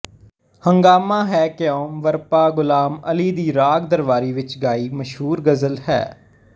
ਹੰਗਾਮਾ ਹੈ ਕਿਉਂ ਬਰਪਾ ਗ਼ੁਲਾਮ ਅਲੀ ਦੀ ਰਾਗ ਦਰਬਾਰੀ ਵਿੱਚ ਗਾਈ ਮਸ਼ਹੂਰ ਗਜ਼ਲ ਹੈ